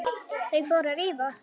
Þau fóru að rífast!